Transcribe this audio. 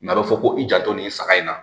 N'a bɛ fɔ ko i janto nin saga in na